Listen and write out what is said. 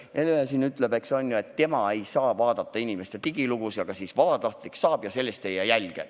Hele siin ütleb, et tema ei saa inimeste digilugusid vaadata, aga vabatahtlik saab ja sellest ei jää jälge.